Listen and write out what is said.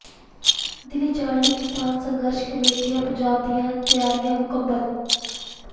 ਦਿੱਲੀ ਜਾਣ ਲਈ ਕਿਸਾਨ ਸੰਘਰਸ਼ ਕਮੇਟੀ ਪੰਜਾਬ ਦੀਆਂ ਤਿਆਰੀਆਂ ਮੁਕੰਮਲ